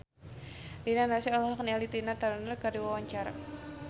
Rina Nose olohok ningali Tina Turner keur diwawancara